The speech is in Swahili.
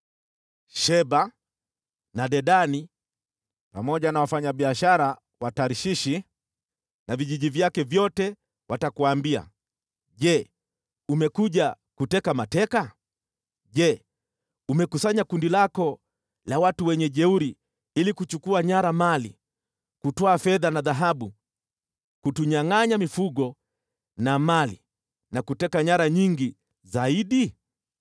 Sheba na Dedani pamoja na wafanyabiashara wa Tarshishi na vijiji vyake vyote watakuambia, “Je, umekuja kuteka mateka? Je, umekusanya makundi yako ya wajeuri ili kuchukua nyara mali, kutwaa fedha na dhahabu, kutunyangʼanya mifugo na mali na kuteka nyara nyingi zaidi?” ’